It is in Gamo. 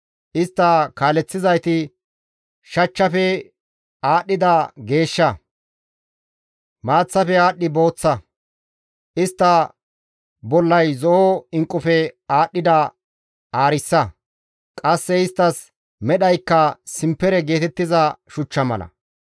Istta kaaleththizayti shachchafe aadhdhida geeshsha; maaththafe aadhdhi booththa; istta bollay zo7o inqqufe aadhdhida aarissa; qasse isttas medhaykka simpere geetettiza shuchcha mala.